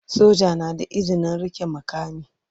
Soja na da izinin rike makami.